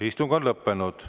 Istung on lõppenud.